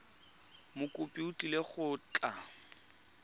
mokopi o tlile go tla